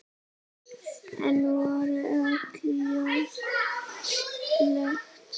Enn voru öll ljós slökkt.